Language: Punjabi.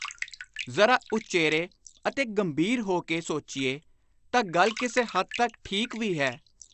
ਜ਼ਰਾ ਉਚੇਰੇ ਅਤੇ ਗੰਭੀਰ ਹੋ ਕੇ ਸੋਚੀਏ ਤਾਂ ਗੱਲ ਕਿਸੇ ਹੱਦ ਤਕ ਠੀਕ ਵੀ ਹੈ।